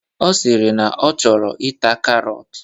Ọ sịrị na ọ chọrọ ita karọt.